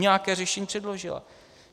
Nějaké řešení předložila.